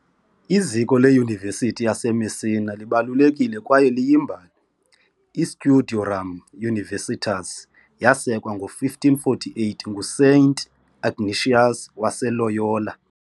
Iziko leyunivesithi yaseMessina libalulekile kwaye liyimbali- i " "Studiorum Universitas" yasekwa ngo -1548 nguSaint Ignatius waseLoyola .